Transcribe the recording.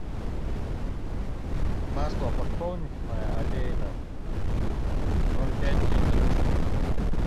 масло подсолнечное олейна ноль пять литра